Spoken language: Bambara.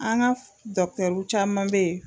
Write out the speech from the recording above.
An ka caman bɛ yen.